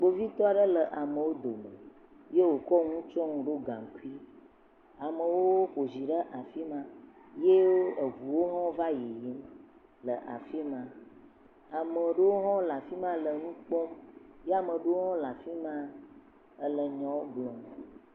Kpovitɔwo aɖewo le amewo dome eye wokɔ nuwo tsɔ ɖo gankui. Amewo xɔ zi ɖe afima eye eʋuawo hã va yiyim. Ame aɖewo hã le afima le nu kpɔm. Ye ame aɖewo le afima ele nya wò gblɔm.